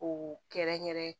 Ko kɛrɛnkɛrɛn